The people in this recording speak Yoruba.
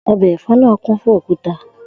O̩bè̩ è̩fó̩ náà kún fún òkúta